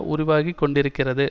உருவாகி கொண்டிருக்கிறது